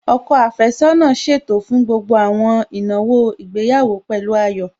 Ọkọ àfẹ́sọ́nà ṣètò fún gbogbo àwọn ìnáwó ìgbéyàwó pẹ̀lú ayọ̀